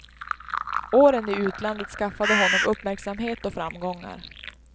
Åren i utlandet skaffade honom uppmärksamhet och framgångar.